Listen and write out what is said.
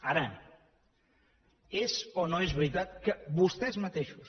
ara és o no és veritat que vostès mateixos